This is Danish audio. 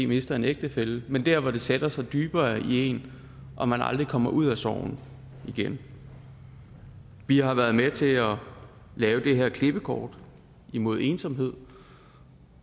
mistet en ægtefælle men der hvor det sætter sig dybere i en og man aldrig kommer ud af sorgen igen vi har været med til at lave det her klippekort imod ensomhed